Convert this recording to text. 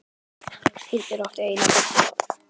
Hildur átti eina dóttur áður.